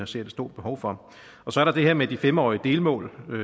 ser det store behov for så er der det her med de fem årige delmål